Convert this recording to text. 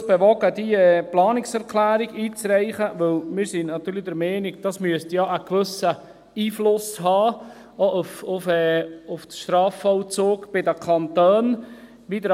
Das hat uns dazu bewogen, diese Planungserklärung einzureichen, weil wir natürlich der Meinung sind, dies müsste ja auch einen gewissen Einfluss auf den Strafvollzug bei den Kantonen haben.